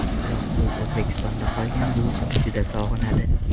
Biroq u O‘zbekistonda qolgan buvisini juda sog‘inadi.